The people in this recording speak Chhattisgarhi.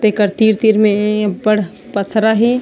तेकर तीर - तीर में ए अब्बड़ पत्थरा हे।